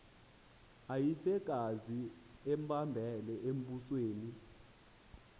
uyisekazi embambele embusweni